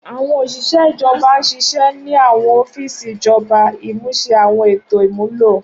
Awọn oṣiṣẹ ijọba n ṣiṣẹ ni awọn ọfiisi ijọba, imuse awọn eto imulo.